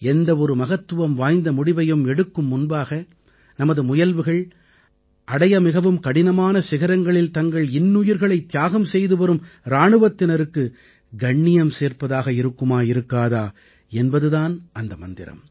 எந்த ஒரு மகத்துவம் வாய்ந்த முடிவையும் எடுக்கும் முன்பாக நமது முயல்வுகள் அடைய மிகவும் கடினமான சிகரங்களில் தங்கள் இன்னுயிர்களைத் தியாகம் செய்துவரும் இராணுவத்தினருக்கு கண்ணியம் சேர்ப்பதாக இருக்குமா இருக்காதா என்பது தான் அந்த மந்திரம்